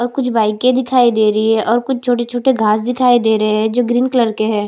और कुछ बाइकें दिखाई दे रही है और कुछ छोटे-छोटे घास दिखाई दे रहे है जो ग्रीन कलर के है।